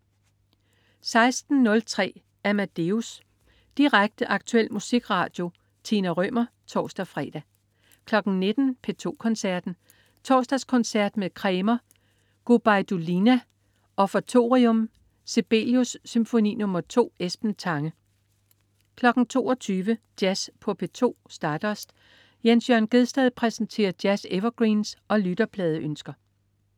16.03 Amadeus. Direkte, aktuel musikradio. Tina Rømer (tors-fre) 19.00 P2 Koncerten. Torsdagskoncert med Kremer. Gubajdulina: Offertorium.Sibelius: Symfoni nr. 2. Esben Tange 22.00 Jazz på P2. Stardust. Jens Jørn Gjedsted præsenterer jazz-evergreens og lytterpladeønsker